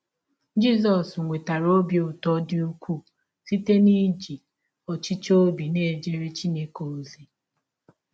Jisọs nwetara ọbi ụtọ dị ụkwụụ site n’iji ọchịchọ ọbi na - ejere Chineke ọzi.